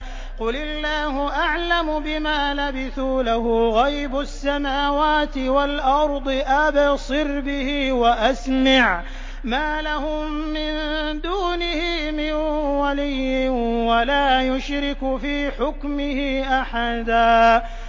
قُلِ اللَّهُ أَعْلَمُ بِمَا لَبِثُوا ۖ لَهُ غَيْبُ السَّمَاوَاتِ وَالْأَرْضِ ۖ أَبْصِرْ بِهِ وَأَسْمِعْ ۚ مَا لَهُم مِّن دُونِهِ مِن وَلِيٍّ وَلَا يُشْرِكُ فِي حُكْمِهِ أَحَدًا